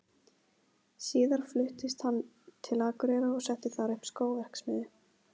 Síðar fluttist hann til Akureyrar og setti þar upp skóverksmiðju.